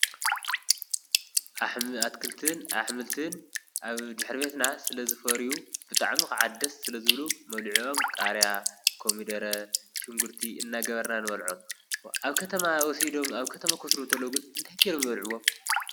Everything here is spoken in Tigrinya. ኣ ኣትክልትን ኣሕምልትን ኣብ ድኅርቤትና ስለ ዝፈርዩ ብጣዕሚ ኸዓድስ ስለ ዝብሉ መብሊዑኦም ቃርያ ኮሚደረ ሽንጕርቲ እናገበርናን በልዖኣብ ማ ወሴዶም ኣብ ከተማ ኽሥሩ ተለግን እንተይገይሩም በልዕዎም።